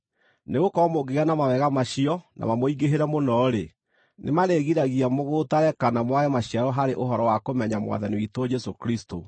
Nĩgũkorwo mũngĩgĩa na mawega macio na mamũingĩhĩre mũno-rĩ, nĩmarĩgiragia mũgũtare kana mwage maciaro harĩ ũhoro wa kũmenya Mwathani witũ Jesũ Kristũ.